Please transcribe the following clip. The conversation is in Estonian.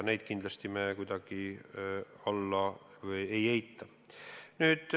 Neid me kindlasti kuidagi ei eita.